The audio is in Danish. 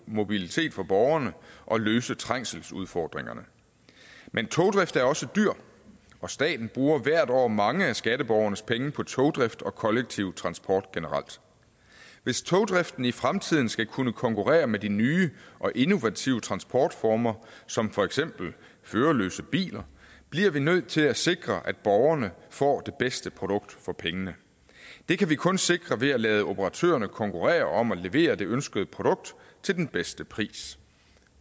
mobilitet for borgerne og løse trængselsudfordringerne men togdrift er også dyrt og staten bruger hvert år mange af skatteborgernes penge på togdrift og kollektiv transport generelt hvis togdriften i fremtiden skal kunne konkurrere med de nye og innovative transportformer som for eksempel førerløse biler bliver vi nødt til at sikre at borgerne får det bedste produkt for pengene det kan vi kun sikre ved at lade operatørerne konkurrere om at levere det ønskede produkt til den bedste pris